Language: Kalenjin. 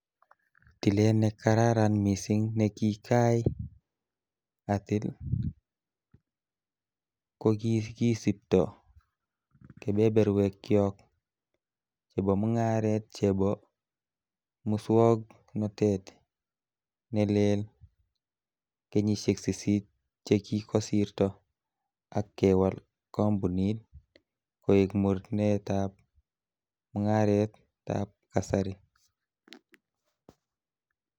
Tilet nekararan missing nekikai atil, ko kikisipto kebeberwekyok che bo mung'aret chebo muswog'notet ne leel, kenyisiek sisit che kikosirto ak kewal kompunit ko iig mornetab mung'aretab kasari.